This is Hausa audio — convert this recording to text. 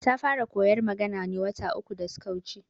Ta fara koyar magana ne wata uku da suka wuce